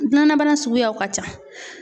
Gilannabana suguyaw ka ca.